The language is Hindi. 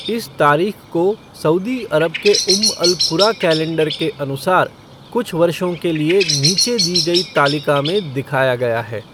इस तारीख को सऊदी अरब के उम्म अल कुरा कैलेंडर के अनुसार कुछ वर्षों के लिए नीचे दी गई तालिका में दिखाया गया है।